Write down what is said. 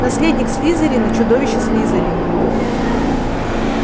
наследник слизерина чудовище слизерина